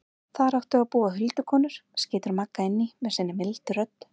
Þar áttu að búa huldukonur, skýtur Magga inn í með sinni mildu rödd.